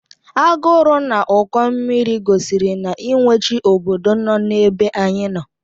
Agụrụ na Ụkọ mmiri gosiri na iwe chi obodo nọ n'ebe anyị nọ.